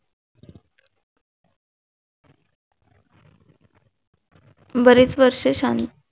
बरीच वर्ष शांत